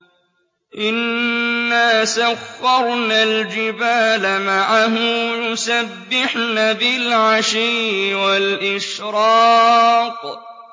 إِنَّا سَخَّرْنَا الْجِبَالَ مَعَهُ يُسَبِّحْنَ بِالْعَشِيِّ وَالْإِشْرَاقِ